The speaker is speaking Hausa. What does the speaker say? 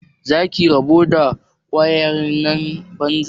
Za ki rabu da ƙawayen banza?